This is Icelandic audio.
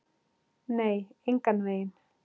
Nei, engan veginn.